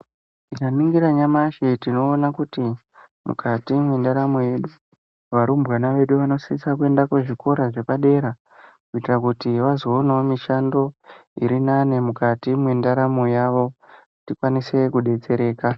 Tikaningira nyamashi tinoona kuti mukati mwendaramo yedu varumbwana vedu vanosisa kuende muzvikora zvepadera kuitira kuti vazoonawo mishando iri nani mukati mwendaramo yavo tikwanise kudetsereka.